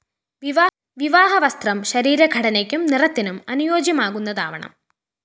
വിവാഹ വസ്ത്രം ശരീര ഘടനയ്ക്കും നിറത്തിനും അനുയോജ്യമാകുന്നതാവണം